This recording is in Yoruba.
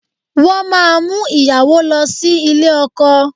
Wọ́n máa mú ìyàwó lọ sí ilé ọkọ